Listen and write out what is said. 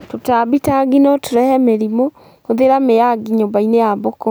Tũtambi ta ngi notũrehe mĩrimũ; hũthĩra miya ngi nyũmbainĩ ya mbũkũ